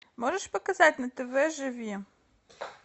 можешь показать на тв живи